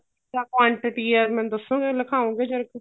quantity ਐ ਮੈਨੂੰ ਦੱਸੋਗੇ ਲਿਖਾਓੰਗੇ ਜਰਾ ਕ